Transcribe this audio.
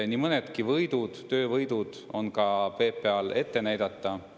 Nii mõnedki töövõidud on PPA-l ette näidata.